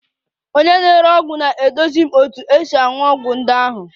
Onye na-ere ọgwụ na-eduzi m otu esi aṅụ ọgwụ ndị ahụ